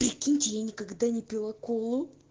прикиньте я никогда не пила колу